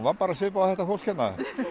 bara svipuð og þetta fólk hérna